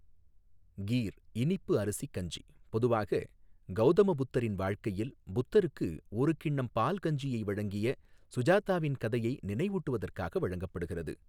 கீர், இனிப்பு அரிசி கஞ்சி பொதுவாக, கௌதம புத்தரின் வாழ்க்கையில், புத்தருக்கு ஒரு கிண்ணம் பால் கஞ்சியை வழங்கிய சுஜாதாவின் கதையை நினைவூட்டுவதற்காக வழங்கப்படுகிறது.